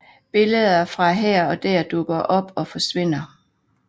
Billeder fra her og der dukker op og forsvinder